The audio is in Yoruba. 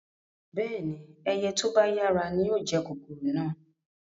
Bẹ́ẹ̀ni, ẹyẹ to ba yara ni yóò jẹ kòkòrò náà